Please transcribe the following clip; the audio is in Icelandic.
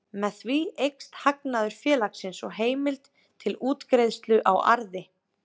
Með því eykst hagnaður félagsins og heimild til útgreiðslu á arði.